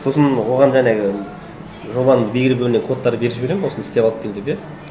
сосын оған жаңағы жобаның кодтарын беріп жіберемін осыны істеп алып кел деп иә